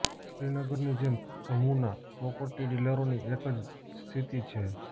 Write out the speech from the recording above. શ્રીનગરની જેમ જમ્મુના પ્રોપર્ટી ડીલરોની એક જ સ્થિતિ છે